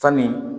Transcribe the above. Sanni